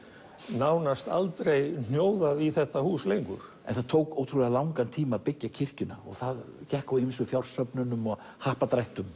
nánast aldrei hnjóðað í þetta hús lengur en það tók ótrúlega langan tíma að byggja kirkjuna og það gekk á ýmsu fjársöfnunum og happdrættum